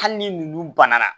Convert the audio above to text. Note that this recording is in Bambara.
Hali ni ninnu banna